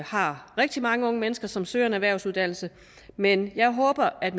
har rigtig mange unge mennesker som søger en erhvervsuddannelse men jeg håber at